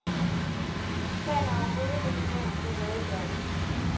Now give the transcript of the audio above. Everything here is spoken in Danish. Sagen er overhovedet ikke nævnt i redegørelsen.